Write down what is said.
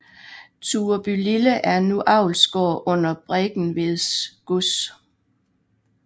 Turebylille er nu avlsgård under Bregentved Gods